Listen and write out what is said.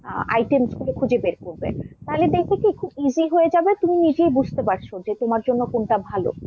items গুলো খুঁজে বের করবে, তাহলে দেখবে কি খুব easy হয়ে যাবে তুমি নিজেই বুঝতে পারছো যে তোমার জন্য কোনটা ভাল।